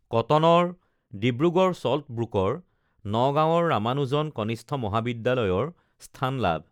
কটনৰ ডিব্ৰুগড় চল্ট ব্ৰুকৰ নগাঁৱৰ ৰামানুজন কনিষ্ঠ মহাবিদ্যালয়ৰ স্থান লাভ